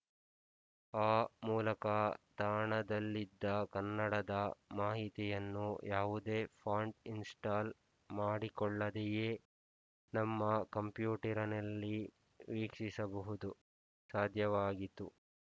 ಆ ಮೂಲಕ ತಾಣದಲ್ಲಿದ್ದ ಕನ್ನಡದ ಮಾಹಿತಿಯನ್ನು ಯಾವುದೇ ಫಾಂಟ್ ಇನ್‍ಸ್ಟಾಲ್ ಮಾಡಿಕೊಳ್ಳದೆಯೇ ನಮ್ಮ ಕಂಪ್ಯೂಟರಿನಲ್ಲಿ ವೀಕ್ಷಿಸುವುದು ಸಾಧ್ಯವಾಯಿತು